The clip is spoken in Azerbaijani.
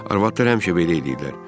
Arvadlar həmişə belə eləyirlər.